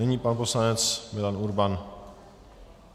Nyní pan poslanec Milan Urban.